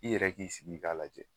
I yɛrɛ k'i sigi i k'a lajɛ